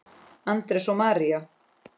Andrés og María.